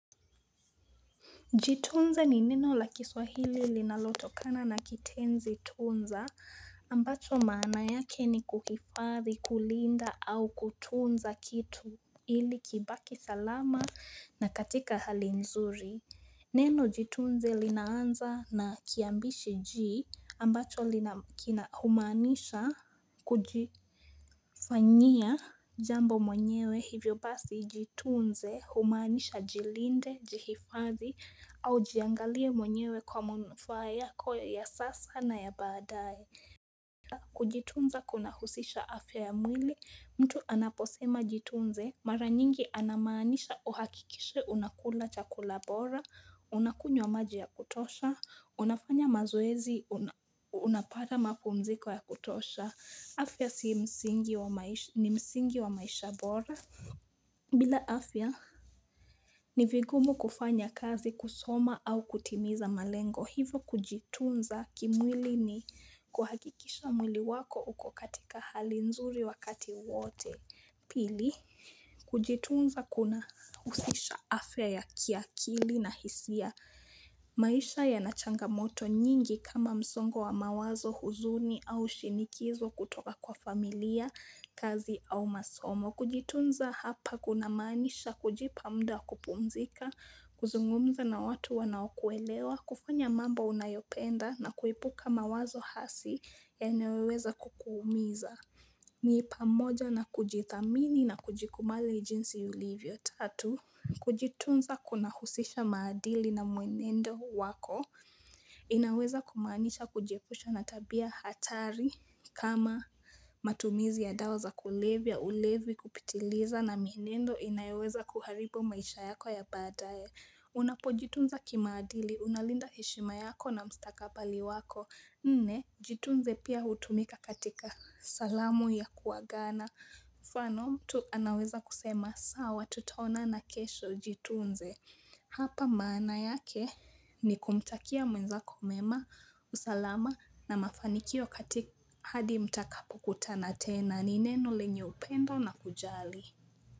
Jitunze ni neno la kiswahili linalotokana na kitenzi tunza ambacho maana yake ni kuhifadhi kulinda au kutunza kitu ili kibaki salama na katika hali nzuri. Neno Jitunze linaanza na kiambishi ji ambacho humaanisha kujifanyia jambo mwenyewe hivyo basi Jitunze humaanisha jilinde, jihifadhi au jiangalie mwenyewe kwa manufaa yako ya sasa na ya baadaye pia kujitunza kunahusisha afya ya mwili mtu anaposema jitunze mara nyingi ana maanisha uhakikishe unakula chakula bora Unakunywa wa maji ya kutosha, unafanya mazoezi, unapata mapumziko ya kutosha. Afya ni msingi wa maisha bora. Bila afya, ni vigumu kufanya kazi kusoma au kutimiza malengo. Hivo kujitunza kimwili ni kuhakikisha mwili wako uko katika hali nzuri wakati wote. Pili, kujitunza kuna husisha afya ya kiakili na hisia maisha yana changamoto nyingi kama msongo wa mawazo huzuni au shinikizo kutoka kwa familia, kazi au masomo. Kujitunza hapa kunamaanisha kujipa mda wa kupumzika, kuzungumza na watu wanaokuelewa, kufanya mambo unayopenda na kuepuka mawazo hasi yanayoweza kukuumiza. Ni pamoja na kujithamini na kujikubali jinsi ulivyo tatu Kujitunza kunahusisha maadili na mwenendo wako inaweza kumaanisha kujiepusha na tabia hatari kama matumizi ya dawa za kulevya ulevi kupitiliza na mienendo inayoweza kuharibu maisha yako ya baadae Unapojitunza kimaadili, unalinda heshima yako na mstakabali wako Nne, Jitunze pia hutumika katika salamu ya kuagana. Mfano, mtu anaweza kusema, sawa tutaonana kesho Jitunze. Hapa maana yake ni kumtakia mwenzako mema, usalama na mafanikio katika hadi mtakapokutana tena. Ni neno lenye upendo na kujali.